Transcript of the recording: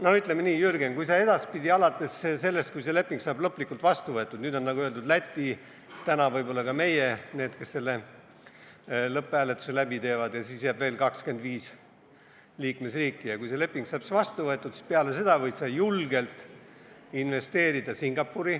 No ütleme nii, Jürgen, edaspidi alates sellest, kui see leping saab lõplikult vastu võetud – nüüd, nagu öeldud, Läti ja täna võib-olla ka meie oleme need, kes selle lõpphääletuse teevad, ja siis jääb veel 25 liikmesriiki –, võid sa julgelt Singapuri investeerida.